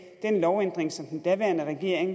den lovændring som den daværende regering